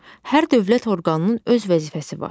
Hər dövlət orqanının öz vəzifəsi var.